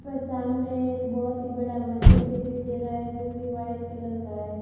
पर सामने एक बोहोत ही बड़ा मंदिर दिखाई दे रहा हैं जो कि व्हाईट कलर का है।